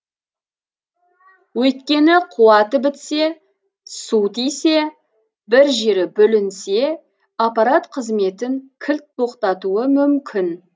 өйткені қуаты бітсе су тисе бір жері бүлінсе аппарат қызметін кілт тоқтатуы мүмкін